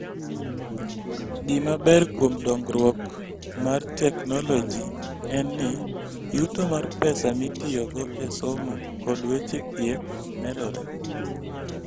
Gima ber kuom dongruok mar teknoloji en ni, yuto mar pesa mitiyogo e somo kod weche thieth medore.